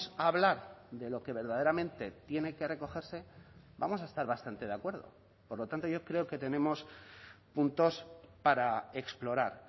a hablar de lo que verdaderamente tiene que recogerse vamos a estar bastante de acuerdo por lo tanto yo creo que tenemos puntos para explorar